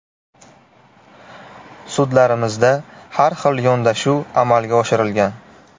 Sudlarimizda har xil yondashuv amalga oshirilgan.